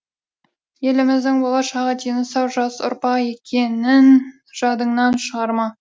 еліміздің болашағы дені сау жас ұрпақ екенін жадыңнан шығарма